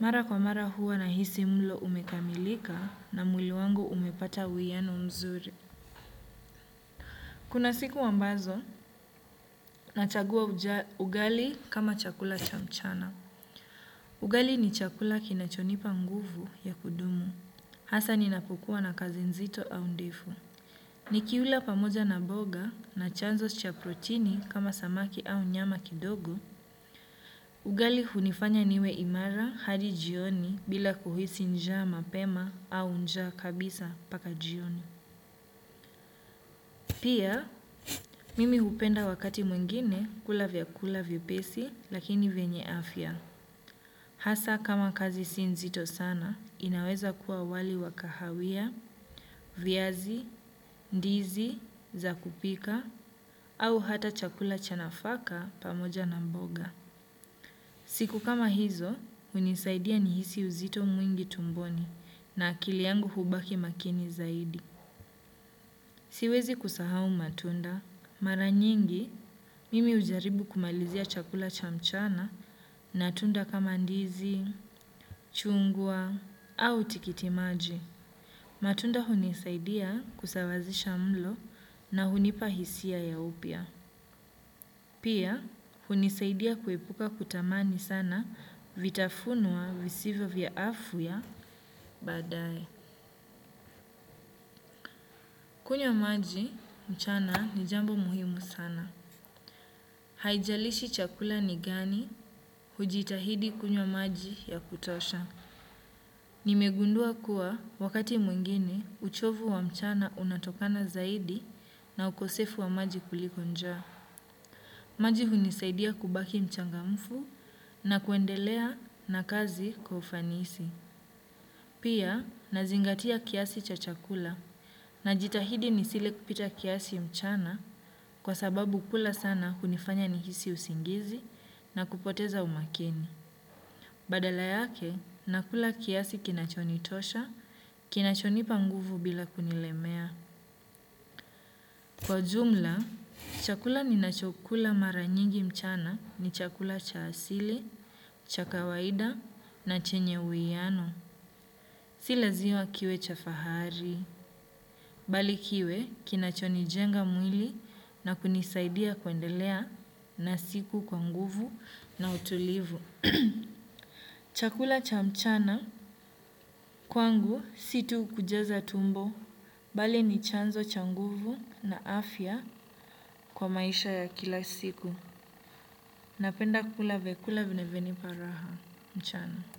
mara kwa mara huwa nahisi mlo umekamilika na mwili wangu umepata uwiyano mzuri. Kuna siku ambazo, nachagua ugali kama chakula cha mchana. Ugali ni chakula kinachonipa nguvu ya kudumu. Hasa ninapokua na kazi nzito au ndefu. Nikiula pamoja na boga na chanzo cha protini kama samaki au nyama kidogo. Ugali hunifanya niwe imara hadi jioni bila kuhisi njaa mapema au njaa kabisa mpaka jioni. Pia, mimi hupenda wakati mwingine kula vyakula vyepesi lakini venye afya. Hasa kama kazi si nzito sana, inaweza kuwa wali wa kahawia, viazi, ndizi, za kupika, au hata chakula cha nafaka pamoja na mboga. Siku kama hizo, hunisaidia nihisi uzito mwingi tumboni na akili yangu hubaki makini zaidi. Siwezi kusahau matunda, mara nyingi mimi hujaribu kumalizia chakula cha mchana na tunda kama ndizi, chungwa au tikitimaji. Matunda hunisaidia kusawazisha mlo na hunipa hisia ya upya. Pia, hunisaidia kuepuka kutamani sana vitafunwa visivyo vya afya baadae. Kunywa maji mchana ni jambo muhimu sana. Haijalishi chakula ni gani hujitahidi kunywa maji ya kutosha. Nimegundua kuwa wakati mwingine uchovu wa mchana unatokana zaidi na ukosefu wa maji kuliko njaa. Maji hunisaidia kubaki mchangamfu na kuendelea na kazi kwa ufanisi. Pia nazingatia kiasi cha chakula najitahidi nisile kupita kiasi mchana kwa sababu kula sana hunifanya nihisi usingizi na kupoteza umakini. Badala yake, nakula kiasi kinachonitosha, kinachonipa nguvu bila kunilemea. Kwa jumla, chakula ni nachokula mara nyingi mchana ni chakula cha asili, cha kawaida na chenye uwiano. Si laziwa kiwe cha fahari, bali kiwe kinachonijenga mwili na kunisaidia kuendelea na siku kwa nguvu na utulivu. Chakula cha mchana kwangu si tu kujaza tumbo bali ni chanzo cha nguvu na afya kwa maisha ya kila siku. Napenda kula vyakula vinavyonipa raha mchana.